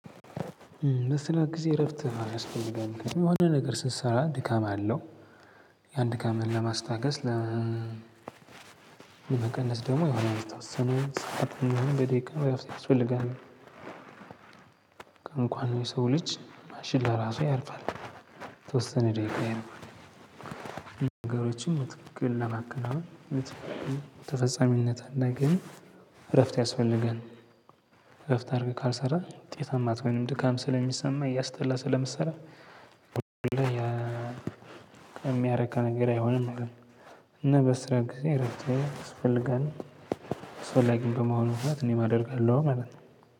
በስራ ጊዜ እረፍት ማድረግ ያስፈልጋል የሆነ ነገር ስትሰራ ድካም አለው። ያን ድካምን ለማስታገስ ለመቀነስ ደግሞ የሆነ የተወሰነ ሰዓት የሆነ ደቂቃ ያስፈልጋል። እንኳን የሰው ልጅ ማሽን ለራሱ ያርፋል ተወሰነ ደቂቃ ይረዱ። ነገሮችን በትክክል ለማከናወን በትክክል ተፈጻሚነት እንዲያገኝ እረፍት ያስፈልጋል። እረፍት አድርገህ ካልሰራህ ውጤታማ አትሆንም ድካም ስለሚሰማ እያስጠላ ስለምትሰራ የሚያረካ ነገር አይሆንም ማለት ነው። እና በስራ ጊዜ ረጅም አስፈልጋለሁ አስፈላጊም በመሆኑ ምክንያት እኔም አደርጋለው ማለት ነው።